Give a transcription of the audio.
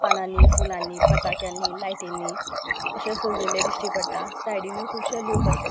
पानानि फुलानि पताक्यानि लायटीनी अशे सजय्यले दिष्टी पडटा सायडीनूय खुबशे लोक आसा.